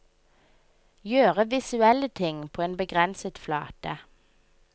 Gjøre visuelle ting på en begrenset flate.